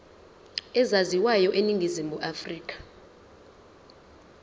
ezaziwayo eningizimu afrika